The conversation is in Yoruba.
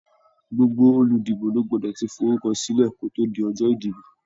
Gbogbo oludibo ló gbọ́dọ̀ tí forúkọ silẹ kò tó di ọjọ́ ìdìbò.